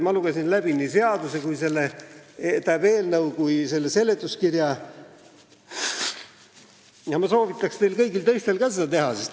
Ma lugesin läbi nii seaduseelnõu kui ka seletuskirja ja ma soovitan teil kõigil seda teha.